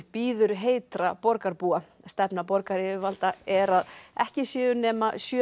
bíður heitra borgarbúa stefna borgaryfirvalda er að ekki séu nema sjö